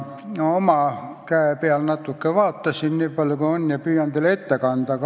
Oma käe peal ma natuke uurisin seda, nii palju kui oskasin, ja püüan tulemuse teile ette kanda.